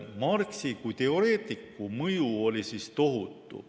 Marxi kui teoreetiku mõju oli tohutu.